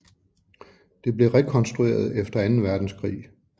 Det blev rekonstrueret efter Anden Verdenskrig